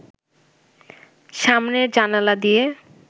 সামনের জানালা দিয়ে